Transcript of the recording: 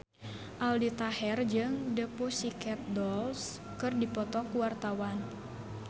Aldi Taher jeung The Pussycat Dolls keur dipoto ku wartawan